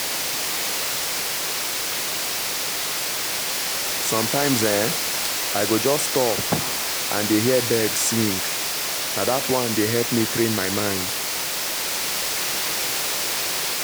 sometimes[um]i go just stop and dey hear birds sing — na that one dey help me train my mind.